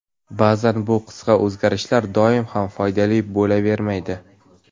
Ba’zan bu qisqa o‘zgarishlar doim ham foydali bo‘lavermaydi.